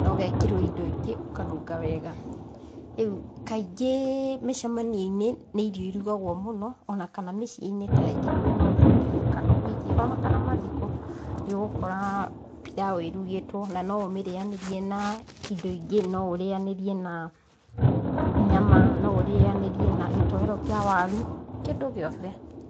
na ũgekĩrwo indo ingĩ ũkanunga wega. Rĩu kaingĩ mĩcemanio-inĩ nĩ irio irugagwo mũno, ona kana mĩciĩ-inĩ tarĩngĩ kwĩna ũthoni, kana ũhiki ona kana mathiko, nĩ ũgũkora pilau ĩrugĩtwo na no ũmĩrĩanĩrie na indo ingĩ, no ũrĩanĩrie na nyama, no ũrĩanĩrie na gĩtoero kĩa waru, kĩndũ gĩothe.